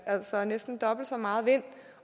altså næsten dobbelt så meget vind